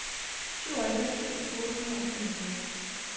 syvoghalvfems tusind otte hundrede og femogfyrre